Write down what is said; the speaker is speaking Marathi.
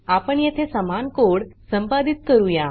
आपण येथे समान कोड संपादित करूया